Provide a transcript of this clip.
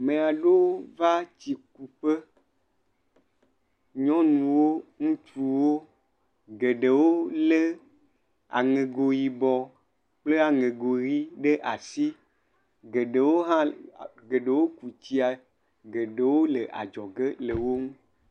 Ame aɖewo va tsi kuƒe, nyɔnuwo, ŋutsuwo, geɖewo lé aŋego yibɔ kple aŋego ʋi ɖe asi. Geɖewo hã llll…geɖewo ku tsia, geɖewo le adzɔ ge le wo gbɔ.